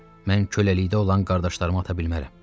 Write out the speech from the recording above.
Mən köləlikdə olan qardaşlarımı ata bilmərəm.